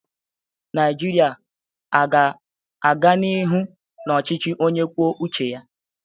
Naijiria a ga-aga n'ihu n'ọchịchị onye kwuo uche ya?